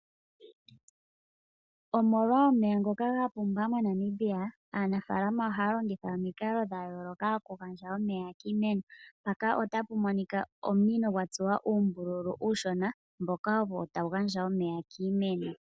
Omolwa omeya ngoka gapumba moNamibia aanafaalama ohaya longitha omikalo dha yooloka oku gandja omeya kiimeno. Mpaka otapu monika ominino gwa tsuwa uumbululu uushona ngoka ogo tagu gandja omeya kiimeno.